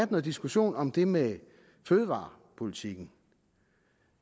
diskussion om det med fødevarepolitikken